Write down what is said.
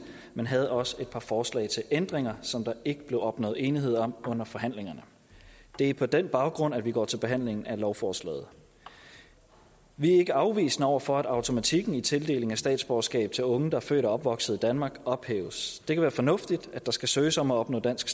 men havde også et par forslag til ændringer som der ikke blev opnået enighed om under forhandlingerne det er på den baggrund at vi går til behandling af lovforslaget vi er ikke afvisende over for at automatikken i tildelingen af statsborgerskab til unge der er født og opvokset i danmark ophæves det kan være fornuftigt at der skal søges om at opnå dansk